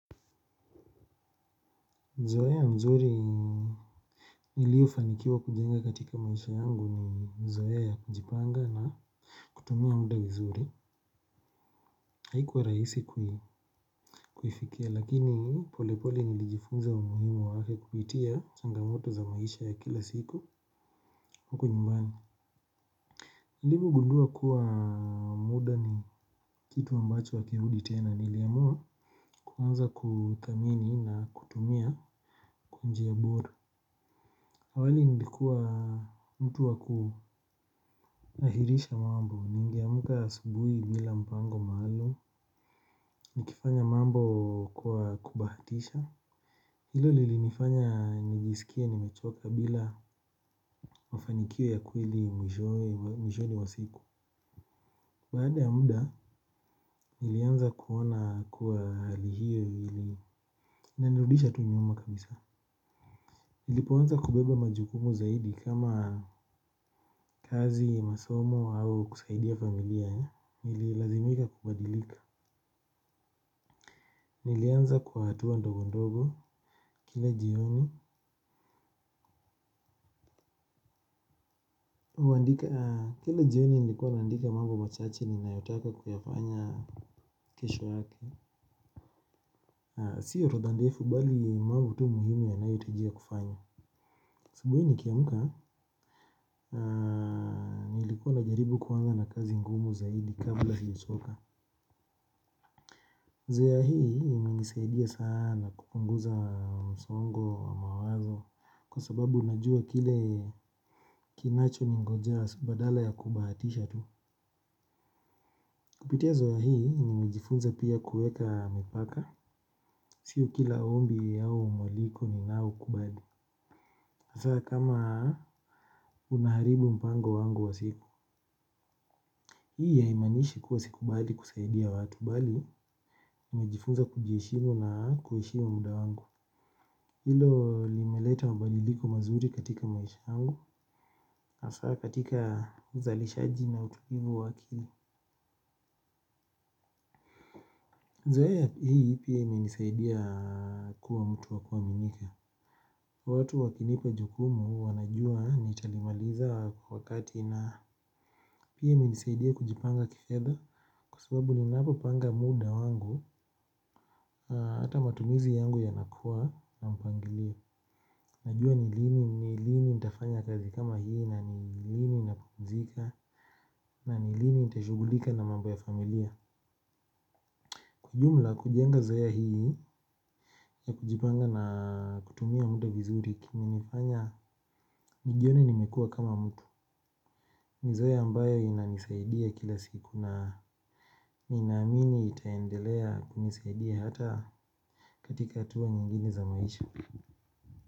Zoea nzuri niliyo fanikiwa kujenga katika maisha yangu ni zoea ya kujipanga na kutumia muda vizuri. Haikuwa rahisi kuifikia lakini polepole nilijifunza umuhimu wake kupitia changamoto za maisha ya kila siku huko nyumbani. Nilipo gundua pkuwa muda ni kitu ambacho hakirudi tena niliamua kuanza kuthamini na kutumia kwa njia bora. Awali nilikua mtu waku ahirisha mambo, ningeamka asubuhi bila mpango maalum, nikifanya mambo kwa kubahatisha. Hilo lilinifanya nijisikie nimechoka bila mafanikio ya kweli mwishoni mwa siku. Baada ya muda, nilianza kuona kuwa hali hiyo inanirudisha tu nyuma kabisa. Nilipoanza kubeba majukumu zaidi kama kazi, masomo au kusaidia familia, nililazimika kubadilika. Nilianza kwa hatua ndogo ndogo kila jioni. Kila jioni nilikuwa nandika mambo machache ninayotaka kuyafanya kesho yake. Sio orodha ndefu bali mambo tu muhimu yanayohitajika kufanya, asubuhi nikiamka nilikuwa najaribu kuanza na kazi ngumu zaidi kabla sija choka. Zoea hii imenisaidia sana kupunguza msongo wa mawazo kwa sababu unajua kile kinacho ningoja badala ya kubahatisha tu. Kupitia zoea hii nimejifunza pia kueka mipaka. Sio kila ombi au mwaliko ninao kubali. Hasa kama unaharibu mpango wangu wa siku. Hii haimaanishi kuwa sikubali kusaidia watu bali, mimejifunza kujiheshimu na kuheshimu muda wangu. Hilo limeleta mabadiliko mazuri katika maisha yangu hasa katika uzalishaji na utulivu wa akili. Zora hii pia imenisaidia kuwa mtu wa kuaminika. Watu wakinipa jukumu wanajua nitalimaliza kwa wakati na pia imenisaidia kujipanga kifedha kwa subabu ninapo panga muda wangu. Hata matumizi yangu yanakuwa na mpangilio. Najua ni lini nitafanya kazi kama hii na ni lini napumzika, na ni lini nita shughulika na mambo ya familia. Kwa ujumla kujenga zoea hii ya kujipanga na kutumia muda vizuri kime nifanya nijione nimekua kama mtu. Ni zoea ambayo inanisaidia kila siku na nina amini itaendelea kunisaidia hata katika hatua nyingine za maisha.